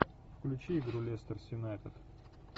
включи игру лестер юнайтед